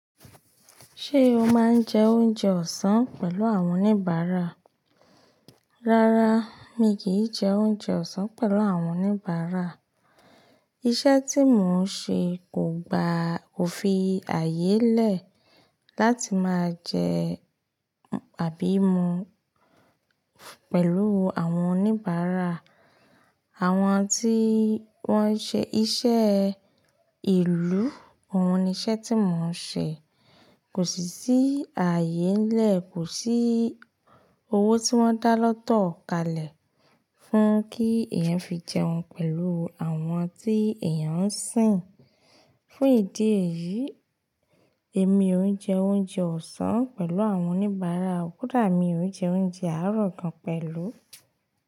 Ṣé o máa ń jẹ oúnjẹ ọ̀sán pẹ̀lú àwọn oníbàárà? Rárá, mi kì í jẹ oúnjẹ ọ̀sán pẹ̀lú àwọn oníbàárà. Iṣẹ́ tí mò ń ṣe kò gba, kò fi ààyè lẹ̀ láti máa jẹ àbí mu pẹ̀lú àwọn oníbàárà. Àwọn tí wọ́n ń ṣe iṣẹ́ ìlú, òun ni iṣẹ́ tí mò ń ṣe. Kò sì sí ààyè n lẹ̀, kò sí owó tí wọ́n dá lọ́tọ̀ kalẹ̀ fún kí èèyàn fi jẹun pẹ̀lú àwọn tí èèyàn ń sìn. Fún ìdí èyí, èmi ò ń jẹ oúnjẹ ọ̀sán pẹ̀lú àwọn oníbàárà, kódà mi ò ń jẹ oúnjẹ àárọ̀ kan pẹ̀lú.